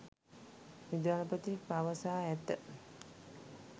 විදුහල්පති පවසා ඇත.